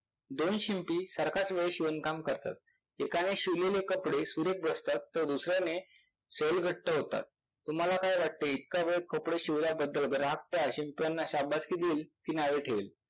दोन शिंपी सारखाच वेळ शिवणकाम करतात. एकाने शिवलेले कपडे सुरेख असतात तर दुसऱ्याने सैल घट्ट होतात. तुम्हाला काय वाटते? इतका वेळ कपडे शिवल्याबद्दल ग्राहक त्या र शिंप्याना शाबासकी देईल कि नावे ठेविल?